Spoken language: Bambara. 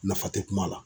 Nafa tɛ kuma la